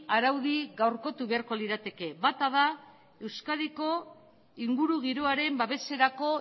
araudi gaurkotu beharko lirateke bata da euskadiko ingurugiroaren babeserako